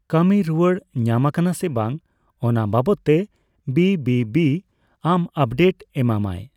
ᱠᱟᱹᱢᱤ ᱨᱩᱣᱟᱹᱲ ᱧᱟᱢ ᱟᱠᱟᱱᱟ ᱥᱮ ᱵᱟᱝ ᱚᱱᱟ ᱵᱟᱵᱚᱫᱛᱮ ᱵᱤᱹᱵᱤᱹᱵᱤ ᱟᱢ ᱟᱯᱰᱮᱛ ᱮᱢᱟᱢᱟᱭ ᱾